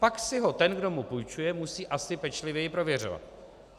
Pak si ho ten, kdo mu půjčuje, musí asi pečlivěji prověřovat.